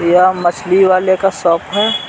यह मछली वाले का शॉप है।